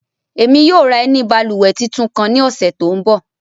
Ẹmi yóò ra ẹni bálúwẹ̀ títún kan ni ọsẹ̣ tó ń bọ̀.